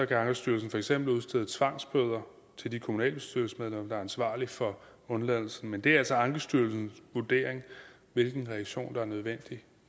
kan ankestyrelsen for eksempel udstede tvangsbøder til de kommunalbestyrelsesmedlemmer ansvarlige for undladelsen men det er altså ankestyrelsens vurdering hvilken reaktion der er nødvendig